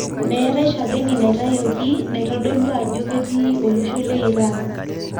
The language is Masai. metae shakeni naitayioki naitodulu ajo ketii olosho le Iran.